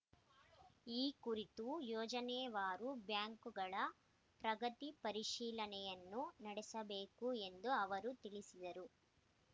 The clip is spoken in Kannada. ಈ ಕುರಿತು ಯೋಜನೆವಾರು ಬ್ಯಾಂಕುಗಳ ಪ್ರಗತಿ ಪರಿಶೀಲನೆಯನ್ನು ನಡೆಸಬೇಕು ಎಂದು ಅವರು ತಿಳಿಸಿದರು